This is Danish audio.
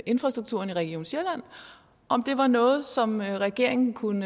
infrastrukturen i region sjælland om det var noget som regeringen kunne